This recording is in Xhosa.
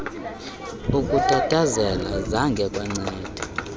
ukutatazela zange kwanceda